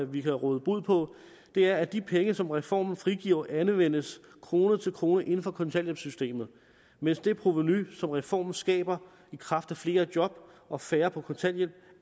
vi kan råde bod på det er at de penge som reformen frigiver anvendes krone for krone inden for kontanthjælpssystemet mens det provenu som reformen skaber i kraft af flere job og færre på kontanthjælp